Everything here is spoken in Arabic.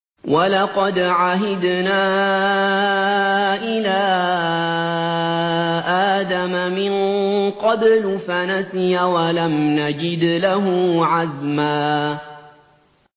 وَلَقَدْ عَهِدْنَا إِلَىٰ آدَمَ مِن قَبْلُ فَنَسِيَ وَلَمْ نَجِدْ لَهُ عَزْمًا